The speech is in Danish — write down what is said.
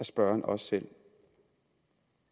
spørgeren også selv